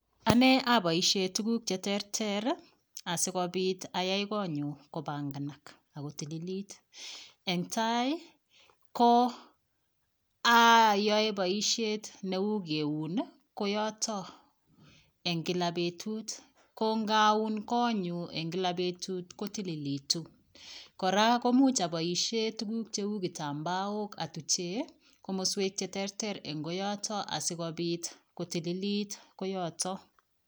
Ane aboishee tukuk cheterter asikopit ayai konyu kobanganak ako tililit eng tai ko ayoe boishet neu keun koyoto eng Kila betut ko ngaun konyu eng Kila betut kotililitu kora komuch aboishen tukuk cheu kitambaok atuche komoswek cheterter eng koyoto asikopit kotililit koyoto